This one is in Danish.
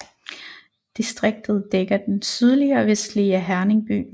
Distriktet dækker det sydlige og vestlige af Herning by